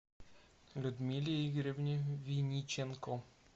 людмиле игоревне виниченко